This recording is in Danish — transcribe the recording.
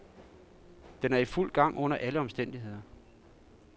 Den er i fuld gang under alle omstændigheder.